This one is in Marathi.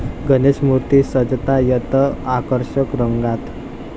गणेशमूर्ती सजतायत आकर्षक रंगांत